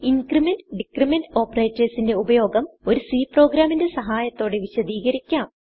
increment decrement operatorsന്റെ ഉപയോഗം ഒരു C പ്രോഗ്രാമിന്റെ സഹായത്തോടെ വിശദികരിക്കാം